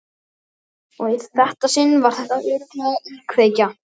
Og í þetta sinn var þetta örugglega íkveikja.